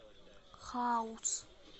хаус